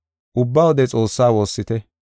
Ubba wode Xoossaa woossite.